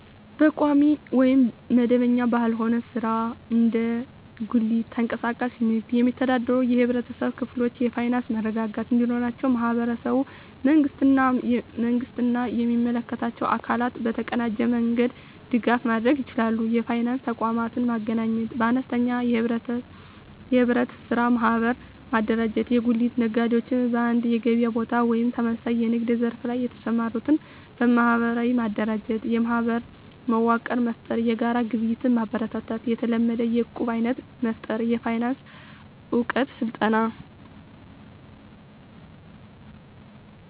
በቋሚ ወይም መደበኛ ባልሆነ ሥራ (እንደ ጉሊት፣ ተንቀሳቃሽ ንግድ) የሚተዳደሩ የህብረተሰብ ክፍሎች የፋይናንስ መረጋጋት እንዲኖራቸው ማህበረሰቡ፣ መንግስት እና የሚመለከታቸው አካላት በተቀናጀ መንገድ ድጋፍ ማድረግ ይችላሉ። የፋይናንስ ተቋማትን ማገናኘት -በአነስተኛ የኅብረት ሥራ ማህበር ማደራጀት የጉሊት ነጋዴዎች በአንድ የገበያ ቦታ ወይም ተመሳሳይ የንግድ ዘርፍ ላይ የተሰማሩትን በማህበር ማደራጀት። -የማህበር መዋቅር መፍጠር -የጋራ ግብይት ማበረታታት -የታለመ የዕቁብ አይነት መፍጠር -የፋይናንስ እውቀት ስልጠና